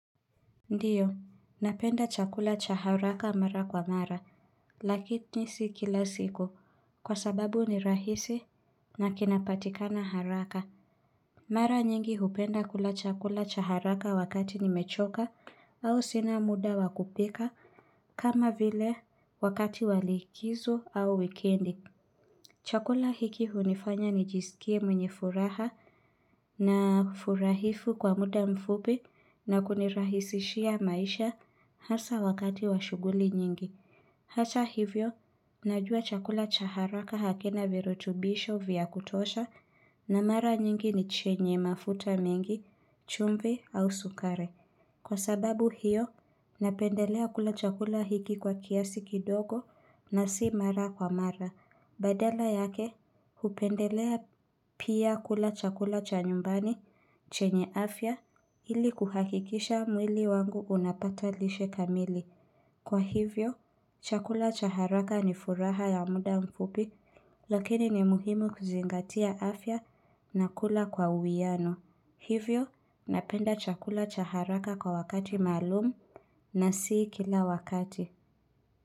Ndiyo, napenda chakula chaharaka mara kwa mara, lakini si kila siku, kwa sababu ni rahisi na kinapatikana haraka. Mara nyingi hupenda kula chakula chaharaka wakati nimechoka au sina muda wa kupika, kama vile wakati walikizo au wikendi. Chakula hiki hunifanya nijisikie mwenye furaha na furahifu kwa muda mfupi na kunirahisishia maisha hasa wakati washughuli nyingi. Hata hivyo, najua chakula chaharaka hakina virutubisho vya kutosha na mara nyingi ni chenye mafuta mengi, chumvi au sukari. Kwa sababu hiyo, napendelea kula chakula hiki kwa kiasi kidogo na si mara kwa mara. Badala yake, hupendelea pia kula chakula cha nyumbani chenye afya ili kuhakikisha mwili wangu unapata lishe kamili. Kwa hivyo, chakula chaharaka ni furaha ya muda mfupi, lakini ni muhimu kuzingatia afya na kula kwa uwiano. Hivyo, napenda chakula chaharaka kwa wakati maalumu na si kila wakati.